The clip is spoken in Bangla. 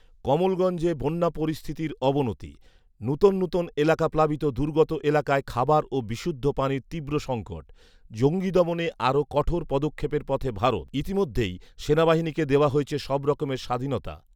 কমলগঞ্জে বন্যা পরিস্থিতি অবনতি। নতুন নতুন এলাকা প্লাবিত দুর্গত এলাকায় খাবার ও বিশুদ্ধ পানির তীব্র সঙ্কট। জঙ্গি দমনে আরও কঠোর পদক্ষেপের পথে ভারত৷ইতিমধ্যেই সেনাবাহিনীকে দেওয়া হয়েছে সব রকম স্বাধীনতা